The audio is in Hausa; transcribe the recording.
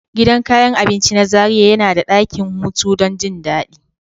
Gidan kayan abinci na Zaria yana da dakin hutu don jin daɗi.